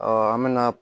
an bɛna